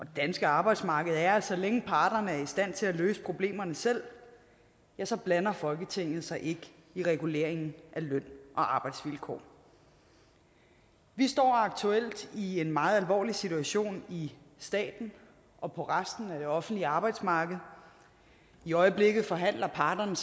danske arbejdsmarked er at så længe parterne er i stand til at løse problemerne selv så blander folketinget sig ikke i reguleringen af løn og arbejdsvilkår vi står aktuelt i en meget alvorlig situation i staten og på resten af det offentlige arbejdsmarked i øjeblikket forhandler parterne